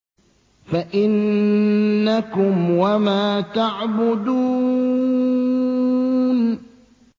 فَإِنَّكُمْ وَمَا تَعْبُدُونَ